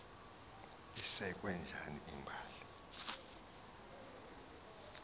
isekwe njani imbali